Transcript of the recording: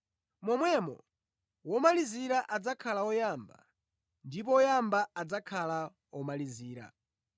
“Momwemo omalizira adzakhala oyamba ndipo oyamba adzakhala omalizira.”